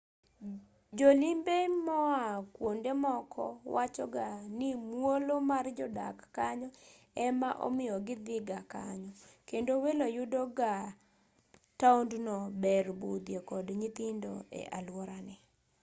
jolimbe moa kuondemoko wachoga ni muolo mar jodak kanyo ema omiyo kidhigaa kanyo kendo welo yudo ka taondno ber budhie kod nyithindo e aluorane